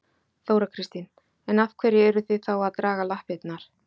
Þóra Kristín: En af hverju eruð þið þá að draga lappirnar?